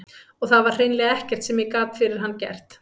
Og það var hreinlega ekkert sem ég gat fyrir hann gert.